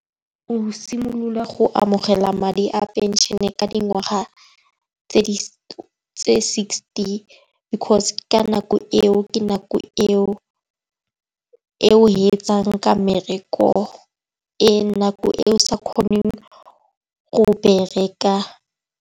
O simolola go amogela madi a phenšene ka dingwaga tse sixty. Because ka nako eo, ke nako eo etsang ka mmereko e nako eo sa kgoneng go bereka